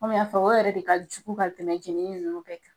Kɔmi n y'a fɔ, o yɛrɛ de ka jugu ka tɛmɛ jenini nunnu bɛɛ kan.